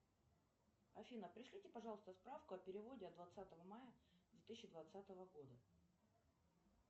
афина пришлите пожалуйста справку о переводе от двадцатого мая две тысячи двадцатого года